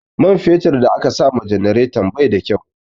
Man fetur da aka sama janareton bai da kyau